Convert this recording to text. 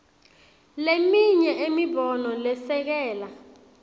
leminye imibono lesekela